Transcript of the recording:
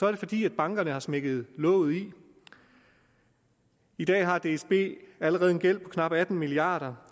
er fordi bankerne har smækket låget i i dag har dsb allerede en gæld på knap atten milliard